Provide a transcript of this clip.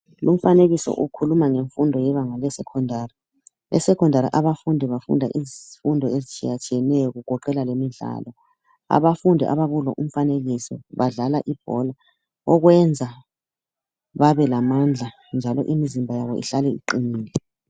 Umfanekiso ukhuluma ngemfundo yebanga lesecondary, esecondary abafundi bafunda izifundo ezitshiyatshiyeneyo kugoqela lemidlalo abafundi abakulo umfanekiso badlala ibhola okwenza babelamandla njalo imizimba yabo ihlale iqinile.